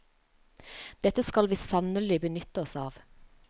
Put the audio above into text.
Det skal vi sannelig benytte oss av.